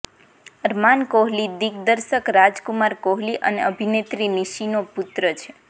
અરમાન કોહલી દિગ્દર્શક રાજ કુમાર કોહલી અને અભિનેત્રી નિશીનો પુત્ર છે